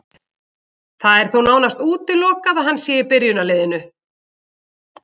Það er þó nánast útilokað að hann sé í byrjunarliðinu.